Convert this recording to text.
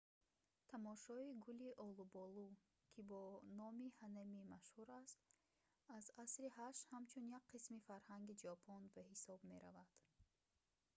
тамошои гули олуболу ки бо номи «ҳанами» машҳур аст аз асри 8 ҳамчун як қисми фарҳанги ҷопон ба ҳисоб меравад